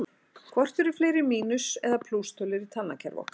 Hvort eru fleiri mínus- eða plústölur í talnakerfi okkar?